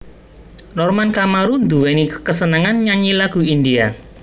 Norman Kamaru nduwèni kesenengan nyanyi lagu India